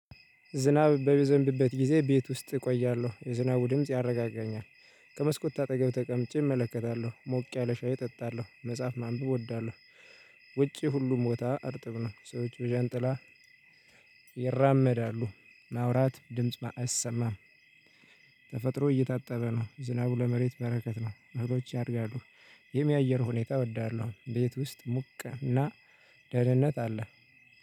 ዝናብ በሚዘንብበት ጊዜ ቤት ውስጥ እቆያለሁ የዝናቡ ድምጽ ያረጋጋኛል። ከመስኮት አጠገብ ተቀምጬ እመለከታለሁ ሞቅ ያለ ሻይ እጠጣለሁ መጽሐፍ ማንበብ እወዳለሁ። ውጪ ሁሉም ቦታ እርጥብ ነው። ሰዎቹ ዣንጥላ ይራመዳሉ ማውራት ድምጽ አይሰማም። ተፈጥሮ እየታጠበ ነው ዝናቡ ለመሬት በረከት ነው። እህሎች ያደርጋሉ። ይህም የአየር ሁኔታ እወዳለሁ ቤት ውስጥ ሙቀና ደህንነት አለ።